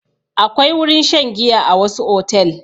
Akwai wurin shan giya a wasu otel.